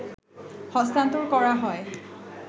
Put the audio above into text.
হস্তান্তর করা হয়